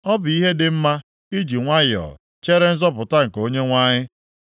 Ọ bụ ihe dị mma iji nwayọọ chere nzọpụta nke Onyenwe anyị.